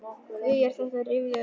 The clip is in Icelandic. Hví er þetta rifjað upp?